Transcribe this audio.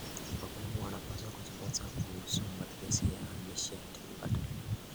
Wakulima wanapaswa kujifunza kuhusu matumizi ya nishati mbadala.